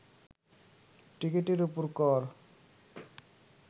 টিকিটের ওপর কর